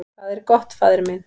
"""Hvað er gott, faðir minn?"""